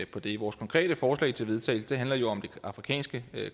på det vores konkrete forslag til vedtagelse handler jo om det afrikanske